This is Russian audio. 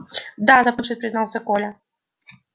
да запнувшись признался коля